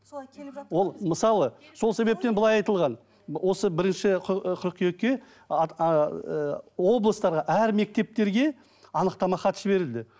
солай келіп ол мысалы сол себептен былай айтылған осы бірінші ы қыркүйекке ыыы облыстарға әр мектептерге анықтама хат жіберілді